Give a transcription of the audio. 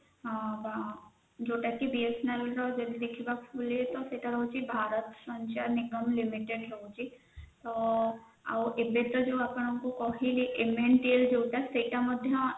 ଜୋଉତା କି BSNL ର ଯେମିତି ଦେଖିବା ସେଟା ହଉଛି ଭାରତ ସଂଚାର ନିଗମ limited ରହୁଛି ତ ଏବେତ ଆପଣଙ୍କୁ କହିଲି mental ଯୌଟା ସେଇଟ ମଧ୍ୟ